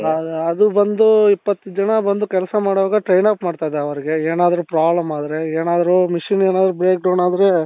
ಅದು ಬಂದು ಇಪ್ಪತ್ತು ಜನ ಬಂದು ಕೆಲಸ ಮಾಡುವಾಗ train up ಮಾಡ್ತಾ ಇದ್ದೆ ಅವರಿಗೆ ಏನಾದ್ರು problem ಆದ್ರೆ ಏನಾದ್ರು machine ಏನಾದ್ರು break down ಆದ್ರೆ